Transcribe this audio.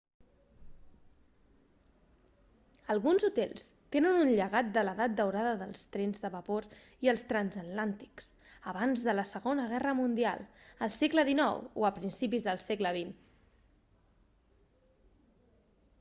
alguns hotels tenen un llegat de l'edat daurada dels trens de vapor i els transatlàntics abans de la segona guerra mundial al segle xix o a principis del segle xx